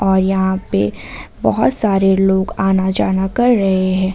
और यहां पे बहोत सारे लोग आना जाना कर रहे हैं।